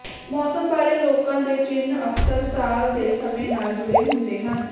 ਮੌਸਮ ਬਾਰੇ ਲੋਕਾਂ ਦੇ ਚਿੰਨ੍ਹ ਅਕਸਰ ਸਾਲ ਦੇ ਸਮੇਂ ਨਾਲ ਜੁੜੇ ਹੁੰਦੇ ਹਨ